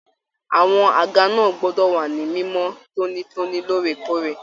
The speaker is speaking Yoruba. Àwọn àga náà gbọdọ wa ní mimọ tonitoni lóòrèkóòrè.